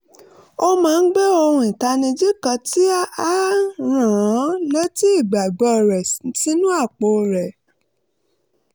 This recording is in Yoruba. ó máa ń gbé ohun ìtanijí kan tí ń rán an léti ìgbàgbọ́ rẹ̀ sínú àpò rẹ̀